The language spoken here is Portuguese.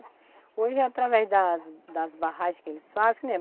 Hoje, através das das barragens que eles fazem, que nem